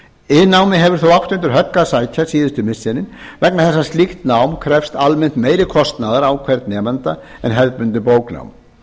iðnnámið hefur þó átt undir högg að sækja síðustu missiri vegna þess að slíkt nám krefst almennt meiri kostnaðar á hvern nemanda en hefðbundið bóknám